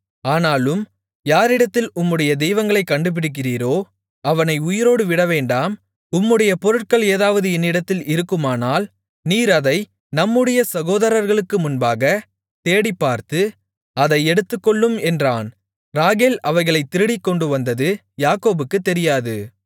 ஆனாலும் யாரிடத்தில் உம்முடைய தெய்வங்களைக் கண்டுபிடிக்கிறீரோ அவனை உயிரோடு விடவேண்டாம் உம்முடைய பொருட்கள் ஏதாவது என்னிடத்தில் இருக்குமானால் நீர் அதை நம்முடைய சகோதரர்களுக்கு முன்பாகத் தேடிப்பார்த்து அதை எடுத்துக்கொள்ளும் என்றான் ராகேல் அவைகளைத் திருடிக்கொண்டு வந்தது யாக்கோபுக்குத் தெரியாது